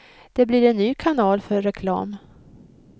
Det blir en ny kanal för reklam.